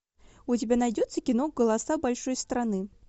у тебя найдется кино голоса большой страны